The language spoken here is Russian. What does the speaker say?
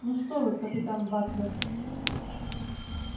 ну что вы капитан батлер